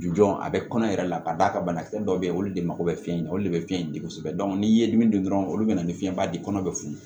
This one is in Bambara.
Jɔn a bɛ kɔnɔ yɛrɛ la ka d'a kan banakisɛ dɔw bɛ yen olu de mako bɛ fiɲɛ na olu de bɛ fiɲɛ di kosɛbɛ n'i ye dimi dun dɔrɔn olu bɛ na ni fiɲɛba di kɔnɔ bɛ funu